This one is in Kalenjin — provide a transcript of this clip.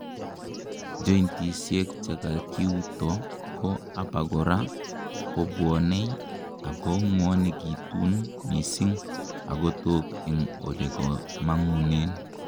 jointisiek chekakiuto ko abakora kobwonei, ako ngwonekitun missing agotok en olekomangunen